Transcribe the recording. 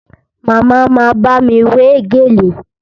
Màmá ma bámi wé gèlè